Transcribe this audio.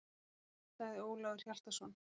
Gott, sagði Ólafur Hjaltason.